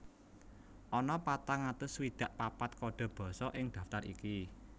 Ana patang atus swidak papat kode basa ing daftar iki